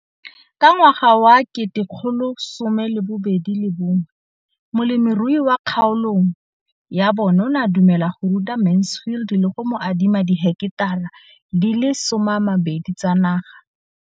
Ka ngwaga wa 2013, molemirui mo kgaolong ya bona o ne a dumela go ruta Mansfield le go mo adima di heketara di le 12 tsa naga.